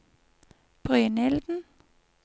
Brynilden